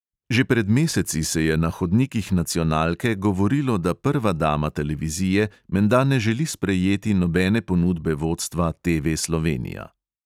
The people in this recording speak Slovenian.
Že pred meseci se je na hodnikih nacionalke govorilo, da prva dama televizije menda ne želi sprejeti nobene ponudbe vodstva TV slovenija.